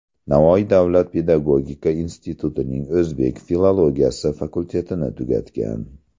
Navoiy davlat pedagogika institutining O‘zbek filologiyasi fakultetini tugatgan.